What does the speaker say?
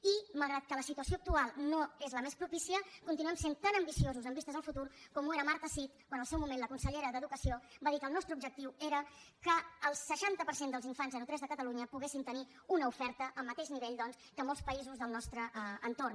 i malgrat que la situació actual no és la més propícia continuem sent tan ambiciosos amb vistes al futur com ho era marta cid quan en el seu moment la consellera d’educació va dir que el nostre objectiu era que el seixanta per cent dels infants de zero a tres de catalunya poguessin tenir una oferta al mateix nivell que el de molts països del nostre entorn